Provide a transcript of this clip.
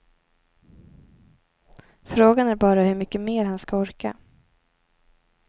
Frågan är bara hur mycket mer han ska orka.